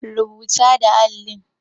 Rubata da allin.